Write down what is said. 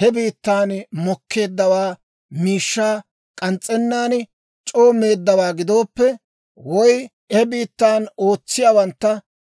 he biittan mokkeedda miishshaa k'ans's'ennaan c'oo meeddawaa gidooppe, woy he biittaa ootsiyaawantta